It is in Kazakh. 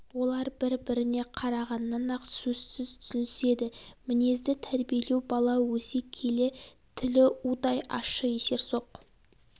олар бір біріне қарағаннан ақ сөзсіз түсініседі мінезді тәрбиелеу бала өсе келе тілі удай ащы есерсоқ